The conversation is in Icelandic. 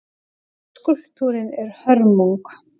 Skúlptúrinn er hörmung.